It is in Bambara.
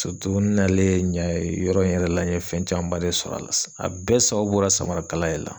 n n'alen yan yɔrɔ in yɛrɛ la n ye fɛn camanba de sɔrɔ a la , a bɛɛ sababu bɔ la samarakala de la.